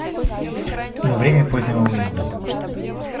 время позднего выезда